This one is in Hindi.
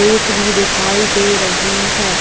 रेत भी दिखाई दे रही हैं।